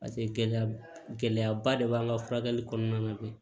Paseke gɛlɛya ba gɛlɛyaba de b'an ka furakɛli kɔnɔna na koyi